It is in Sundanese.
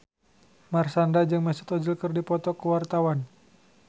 Marshanda jeung Mesut Ozil keur dipoto ku wartawan